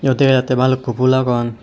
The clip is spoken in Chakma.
dega jatte bhalukku phool agon.